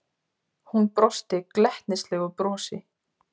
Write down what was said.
Hún brosti glettnislegu brosi.